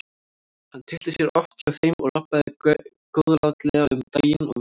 Hann tyllti sér oft hjá þeim og rabbaði góðlátlega um daginn og veginn.